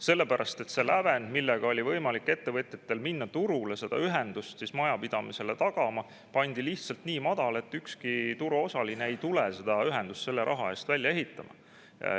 Sellepärast et see lävend, millega oli võimalik ettevõtjatel minna turule seda ühendust majapidamisele tagama, pandi lihtsalt nii madal, et ükski turuosaline ei tule seda ühendust selle raha eest välja ehitama.